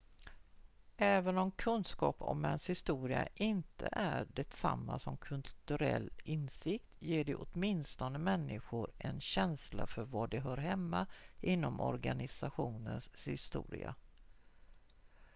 även om kunskap om ens historia inte är detsamma som kulturell insikt ger det åtminstone människor en känsla för var de hör hemma inom organisationens historia